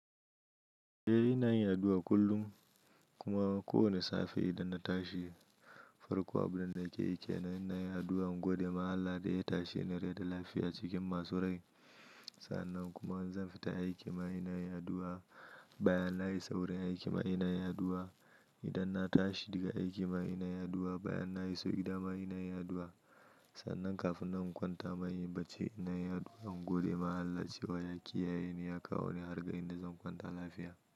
Eh ina yin addu'a kullum kuma ko wane safe idan na tashi farko abunda nake yi ke nan ina yin addu'a in gode ma allah da ya tashe ni rai da lafiya cikin masu rai. Sannan kuma zan fita aiki ma ina yin addu'q, bayan na isa wurin aiki ma ina yin addu'a. Idan na tashi daga aiki ma ina yin addu'a bayan na iso gidama ina yin addu'a. Sannan kafin na kwanta inyi bacci ina yin addu'a in gode ma Allah wajen kiyaye ni ya kawo ni har ga inda zan kwanta lafiya.